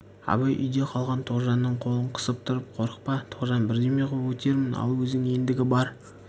абай үйде қалған тоғжанның қолын қысып тұрып қорықпа тоғжан бірдеме ғып өтермін ал өзің ендігі бар